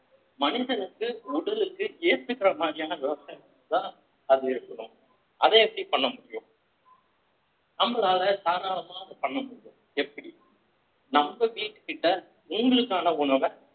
மனிதனுக்கு உடலுக்கு ஏத்துக்கிற மாதிரியான விவசாயத்துக்குதான் அது இருக்கணும் அத எப்படி பண்ண முடியும் நம்மளால தாராளமா அத பண்ண முடியும் எப்படி நம்ம வீட்டுக்கிட்ட உங்களுக்கான உணவ